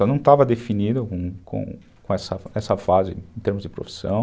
Só não estava definido com com essa essa fase em termos de profissão.